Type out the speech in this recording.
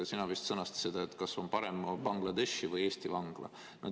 Sina vist sõnastasid selle nii, et kas on parem Bangladeshi või Eesti vangla.